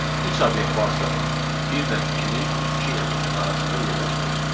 Üç obyekt varsa, bir ilə ikinin, iki ilə üçün arasında yerləşdirir.